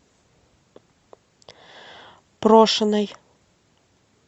прошиной